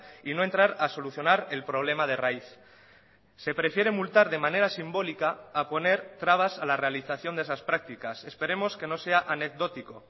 y no entrar a solucionar el problema de raíz se prefiere multar de manera simbólica a poner trabas a la realización de esas prácticas esperemos que no sea anecdótico